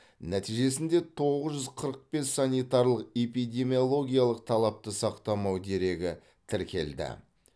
нәтижесінде тоғыз жүз қырық бес санитарлық эпидемиологиялық талапты сақтамау дерегі тіркелді